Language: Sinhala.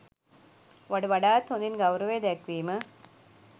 වඩ වඩාත් හොදින් ගෞරවය දැක්වීම